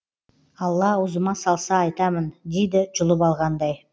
алла аузыма салса айтамын дейді жұлып алғандай